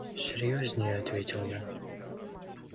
серьёзнее ответил я